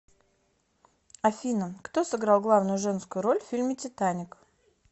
афина кто сыграл главную женскую роль в фильме титаник